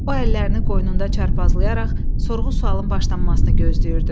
O, əllərini qoynunda çarpazlayaraq sorğu-sualın başlanmasını gözləyirdi.